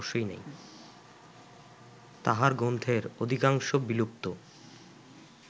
তাঁহার গ্রন্থের অধিকাংশ বিলুপ্ত